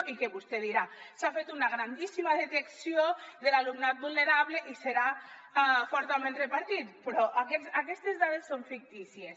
i vostè dirà s’ha fet una grandíssima detecció de l’alumnat vulnerable i serà fortament repartit però aquestes dades són fictícies